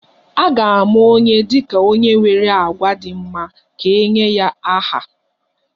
A ga-ama onye dị ka onye nwere àgwà dị mma ka e nye ya aha